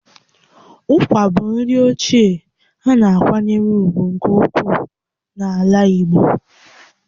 Ụkwa bụ nri ochie a na-akwanyere ùgwù nke ukwuu n'ala Igbo